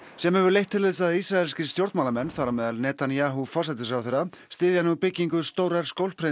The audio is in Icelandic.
sem hefur leitt til þess að ísraelskir stjórnmálamenn þar á meðal Netanyahu forsætisráðherra styðja nú byggingu stórrar